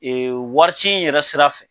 wari ci in yɛrɛ sira fɛ